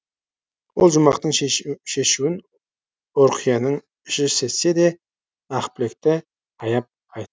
ол жүмбақтың шешуін ұрқияның іші сезсе де ақбілекті аяп айт